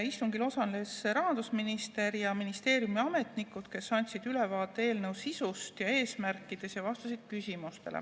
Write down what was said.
Istungil osalesid rahandusminister ja ministeeriumi ametnikud, kes andsid ülevaate eelnõu sisust ja eesmärkidest, samuti vastasid küsimustele.